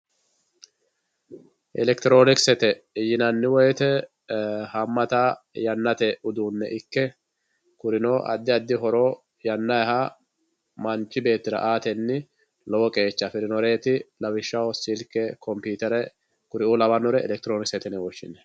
elekitiroonikisete yinanni woyiite haammata yannate uduunne ikke kurino addi addi horo yannayha manchi beettira aatenni lowo qeecha afirinoreeti lawishshaho silkekompiitere kuriuu lawannore elekitiroonikisete yine woshshinanni.